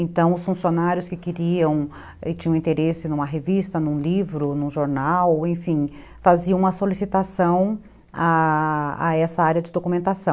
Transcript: Então, os funcionários que queriam e tinham interesse numa revista, num livro, num jornal, enfim, faziam uma solicitação a essa área de documentação.